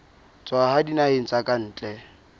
tswa dinaheng tsa ka ntle